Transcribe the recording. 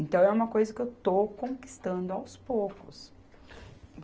Então, é uma coisa que eu estou conquistando aos poucos.